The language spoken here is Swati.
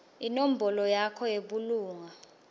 inombolo yakho yebulunga